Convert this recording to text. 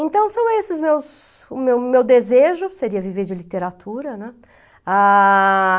Então, são esses os meus o meu o meu desejo que seria viver de literatura, né. Ah...